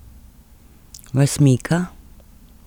Vas mika?